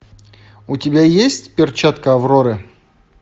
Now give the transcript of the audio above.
у тебя есть перчатка авроры